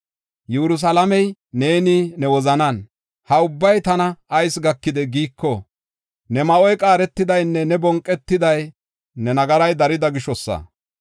Yerusalaame, neeni ne wozanan, ‘Ha ubbay tana ayis gakidee?’ giiko, ne ma7oy qaaretidaynne ne bonqetiday ne nagaray darida gishosa.